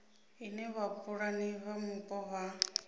ine vhapulani vha mupo vha